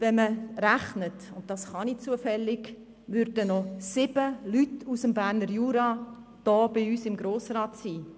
Wenn man rechnet, und das kann ich zufällig, würden noch 7 Leute aus dem Berner Jura hier bei uns im Grossen Rat sitzen.